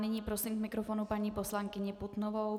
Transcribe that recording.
Nyní prosím k mikrofonu paní poslankyni Putnovou.